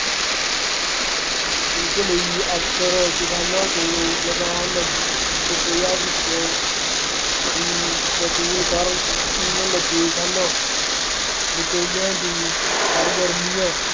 ਇਸ ਲਈ ਅਫਸਰ ਕਿਸਾਨਾਂ ਕੋਲੋਂ ਲਗਾਨ ਦੀ ਰੁਪਇਆਂ ਵਿੱਚ ਹੀ ਵਸੂਲ ਕਰਨ ਲੱਗੇ ਸਨ। ਵਿਚੌਲਿਆਂ ਦੀ ਸਰਗਰਮੀਆਂ